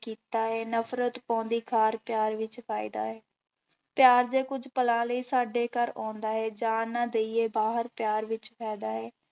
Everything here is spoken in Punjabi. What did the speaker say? ਕੀਤਾ ਹੈ, ਨਫ਼ਰਤ ਪਾਉਂਦੀ ਖਾਰ ਪਿਆਰ ਵਿੱਚ ਫ਼ਾਇਦਾ ਹੈ, ਪਿਆਰ ਦੇ ਕੁੱਝ ਪਲਾਂ ਲਈ ਸਾਡੇ ਘਰ ਆਉਂਦਾ ਹੈ ਜਾਣ ਨਾ ਦੇਈਏ ਬਾਹਰ ਪਿਆਰ ਵਿੱਚ ਫ਼ਾਇਦਾ ਹੈ।